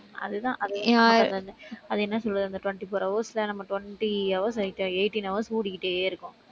அதுதான் அது, அது என்ன சொல்றது, அந்த twenty-four hours ல நம்ம twenty hours eighteen hours ஓடிக்கிட்டே இருக்கோம்.